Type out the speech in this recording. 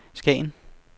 Skagen